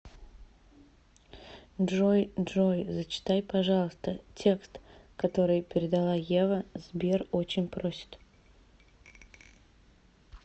джой джой зачитай пожалуйста текст который передала ева сбер очень просит